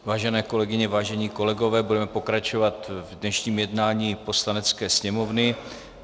Vážené kolegyně, vážení kolegové, budeme pokračovat v dnešním jednáním Poslanecké sněmovny.